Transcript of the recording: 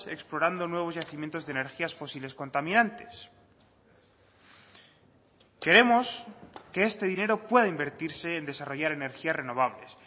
explorando nuevos yacimientos de energías fósiles contaminantes queremos que este dinero pueda invertirse en desarrollar energías renovables